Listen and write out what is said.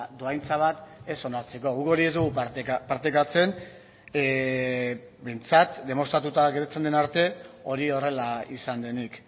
dohaintza bat ez onartzeko guk hori ez dugu partekatzen behintzat demostratuta agertzen den arte hori horrela izan denik